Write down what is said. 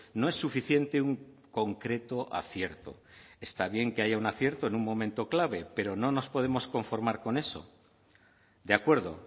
no es suficiente un concreto acierto está bien que haya un acierto en un momento clave pero no nos podemos conformar con eso de acuerdo